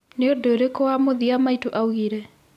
nĩ ũndũ ũrĩkũ wa mũthĩa maĩtũ aũngĩre